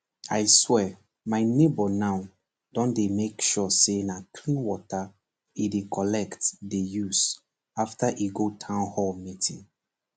i swear my neighbour now don dey make sure say na clean water e dey collect dey use after e go townhall meeting